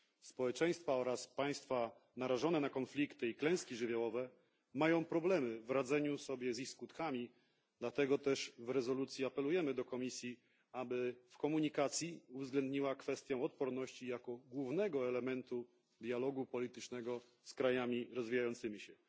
Społeczeństwa oraz państwa narażone na konflikty i klęski żywiołowe mają problemy w radzeniu sobie z ich skutkami, dlatego też w rezolucji apelujemy do Komisji, aby w komunikacji uwzględniła odporność jako główny element dialogu politycznego z krajami rozwijającymi się.